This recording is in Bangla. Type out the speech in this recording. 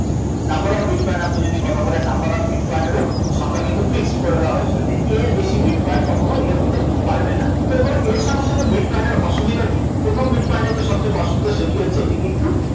Number of bitcoin যদি আপনি কথা বলেন number of bitcoin এরও সংখ্যা কিন্তু fixed করে দেওয়া হয়েছিল, যে এর বেশি bitcoin কখনো ইয়ে হতে পারবে না, তো এবার এর সঙ্গে সঙ্গে bitcoin এর অসুবিধা কী? প্রথম bitcoin এর যে সবথেকে অসুবিধা সেটি হচ্ছে এটি কিন্তু